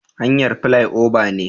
Hanyar filai oba ne